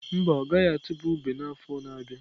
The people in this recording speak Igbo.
Mba, ọ gaghị atụba ube n'afọ a na-abịa.